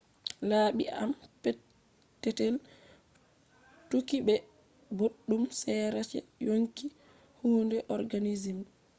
labi e’am petetel touki be boddum sera je yonki hundeji organism